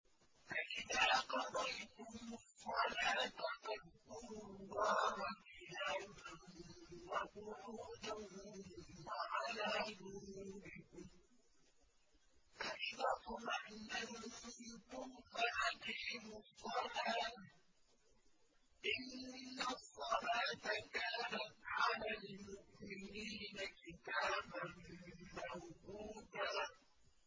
فَإِذَا قَضَيْتُمُ الصَّلَاةَ فَاذْكُرُوا اللَّهَ قِيَامًا وَقُعُودًا وَعَلَىٰ جُنُوبِكُمْ ۚ فَإِذَا اطْمَأْنَنتُمْ فَأَقِيمُوا الصَّلَاةَ ۚ إِنَّ الصَّلَاةَ كَانَتْ عَلَى الْمُؤْمِنِينَ كِتَابًا مَّوْقُوتًا